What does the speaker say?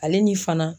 Ale ni fana